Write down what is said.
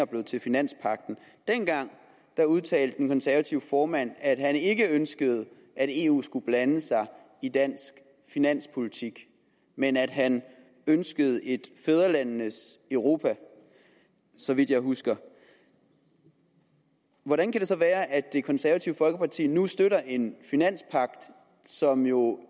blevet til finanspagten dengang udtalte den konservative formand at han ikke ønskede at eu skulle blande sig i dansk finanspolitik men at han ønskede et fædrelandenes europa så vidt jeg husker hvordan kan det så være at det konservative folkeparti nu støtter en finanspagt som jo